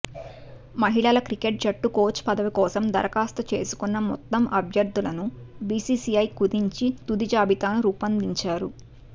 మహిళల క్రికెట్ జట్టు కోచ్ పదవి కోసం దరఖాస్తు చేసుకున్న మొత్తం అభ్యర్థులను బిసిసిఐ కుదించి తుది జాబితాను రూపొందించారు